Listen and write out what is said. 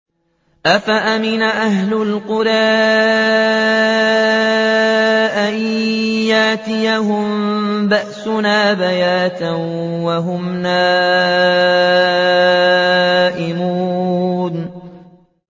أَفَأَمِنَ أَهْلُ الْقُرَىٰ أَن يَأْتِيَهُم بَأْسُنَا بَيَاتًا وَهُمْ نَائِمُونَ